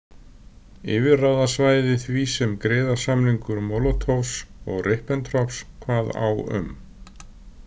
Yfirráðasvæði því sem griðasamningur Molotovs og Ribbentrops kvað á um.